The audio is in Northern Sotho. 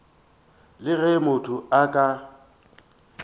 le ge motho a ka